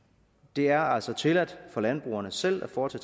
det er altså tilladt for landbrugerne selv at foretage